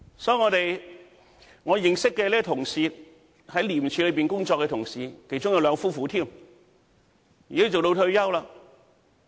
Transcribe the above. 所以，我認識這位在廉署工作的同事，其中也有兩夫婦，現在已經退休。